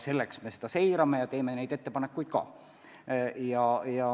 Selleks me seda kõike seirame ja teeme oma ettepanekuid ka.